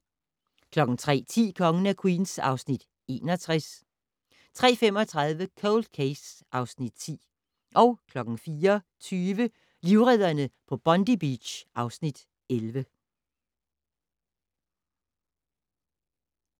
03:10: Kongen af Queens (Afs. 61) 03:35: Cold Case (Afs. 10) 04:20: Livredderne på Bondi Beach (Afs. 11)